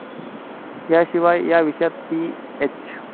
याशिवाय या विषयात पीएच.